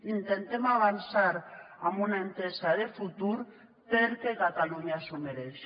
intentem avançar en una entesa de futur perquè catalunya s’ho mereix